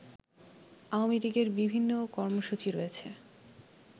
আওয়ামী লীগের বিভিন্ন কর্মসূচি রয়েছে